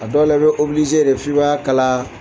A dɔw la i bɛ de f'i b'a kala